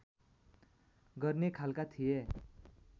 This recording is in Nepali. गर्ने खालका थिए